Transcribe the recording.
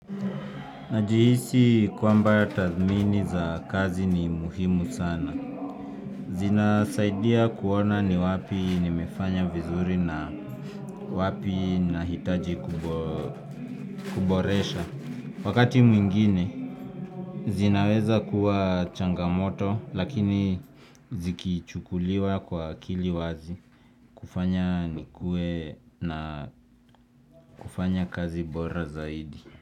Najihisi kwamba tathmini za kazi ni muhimu sana. Zinasaidia kuona ni wapi nimefanya vizuri na wapi nahitaji kuboresha. Wakati mwingine, zinaweza kuwa changamoto, lakini zikichukuliwa kwa akili wazi. Kufanya nikue na kufanya kazi bora zaidi.